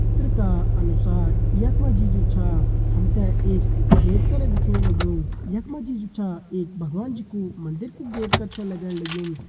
चित्र का अनुसार यखमा जी जु छा हमते एक गेट कर दिखेण लग्युं यखमा जी जु छा एक भगवान जी कू मंदिर कु गेट कर छ लगण लग्यूं।